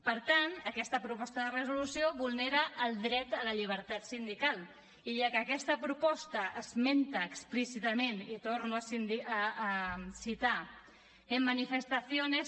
per tant aquesta proposta de resolució vulnera el dret a la llibertat sindical i ja que aquesta proposta esmenta explícitament i torno a citar en manifestaciones